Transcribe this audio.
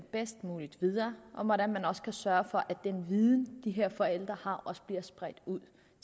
bedst muligt videre og hvordan man også kan sørge for at den viden de her forældre har også bliver spredt ud